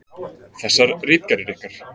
Þessar ritgerðir ykkar!